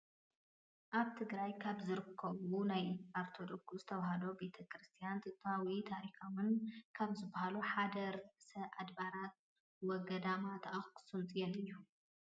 ኣብ ትግራይ ካብ ዝርከቡ ናይ ኦርቶዶክስ ተዋህዶ ቤተ ክርስትያን ጥንታውን ታሪካውን ካብ ዝባሃሉ ሓደ ርእሰ ኣድባራት ወ-ገዳማት ኣክሱም ፅዮን እዩ፡፡